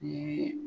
Ni